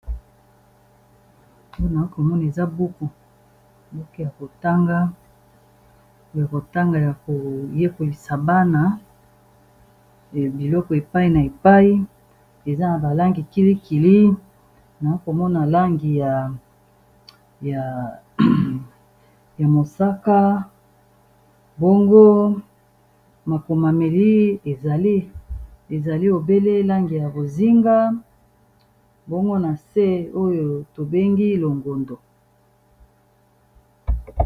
Awa nakomona eza buku mboke ya kotanga a kotanga ya koyekolisa bana biloko epai na epai eza na balangi kilikili na komona langi ya mosaka boongo makomameli ezali obele langi ya bozinga bongo na se oyo tobengi longondo